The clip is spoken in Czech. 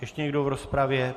Ještě někdo v rozpravě?